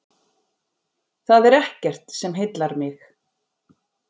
Það er ekkert sem heillar mig.